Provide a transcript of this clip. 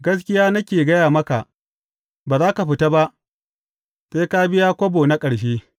Gaskiya nake gaya maka, ba za ka fita ba, sai ka biya kobo na ƙarshe.